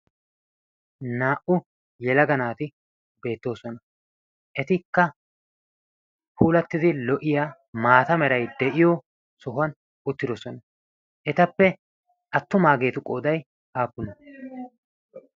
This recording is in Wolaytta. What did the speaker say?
naa'u yelaga naati beettoosona. etikka huulattidi lo''a maata merai de'iyo sohuwan uttidosona . etappe attumaageetu qoodyi haappuna?